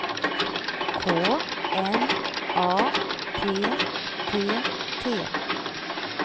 K N A P P T